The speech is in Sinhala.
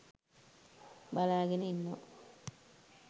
බලාගෙන ඉන්නවා